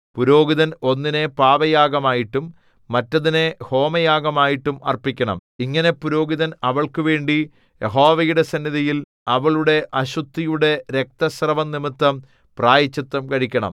പുരോഹിതൻ ഒന്നിനെ പാപയാഗമായിട്ടും മറ്റേതിനെ ഹോമയാഗമായിട്ടും അർപ്പിക്കണം ഇങ്ങനെ പുരോഹിതൻ അവൾക്കുവേണ്ടി യഹോവയുടെ സന്നിധിയിൽ അവളുടെ അശുദ്ധിയുടെ രക്തസ്രവംനിമിത്തം പ്രായശ്ചിത്തം കഴിക്കണം